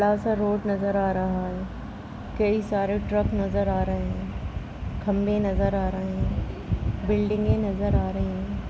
बड़ा सा रोड नजर आ रहा है| कई सारे ट्रक नजर आ रहे है| खम्भे नजर आ रहे है| बिल्डिंगे नजर आ रही है।